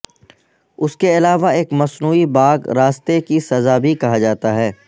اس کے علاوہ ایک مصنوعی باغ راستہ کی سزا بھی کہا جاتا ہے